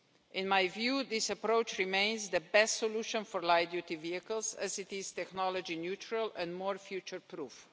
In my view, this approach remains the best solution for light-duty vehicles, as it is technology neutral and more future proof.